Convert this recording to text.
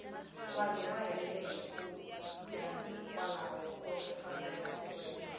vanhu va helela hi swakudya hikwalaho ko tsandeka ku veka